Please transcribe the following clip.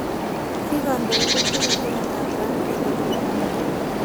Kiikondoindet kenyisiek ata abraham kigen eng' amerika